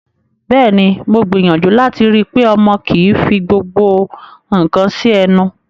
Bẹ́ẹ̀ ni, mo gbìyàjú láti rí i pé ọmọ kò fí gbogbo nǹkan sí ẹnu.